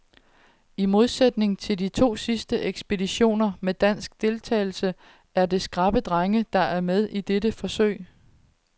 I modsætning til de to sidste ekspeditioner med dansk deltagelse er det skrappe drenge, der er med i dette forsøg.